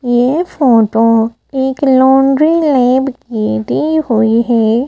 ये फोटो एक laundry lab की दी हुई है।